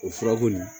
O furako nin